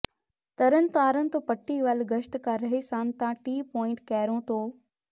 ਤਰਨਤਾਰਨ ਤੋ ਪੱਟੀ ਵੱਲ ਗਸ਼ਤ ਕਰ ਰਹੇ ਸਨ ਤਾਂ ਟੀ ਪੁਆਇੰਟ ਕੈਰੋਂ ਤੋ